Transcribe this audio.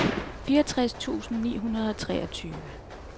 fireogtres tusind ni hundrede og treogtyve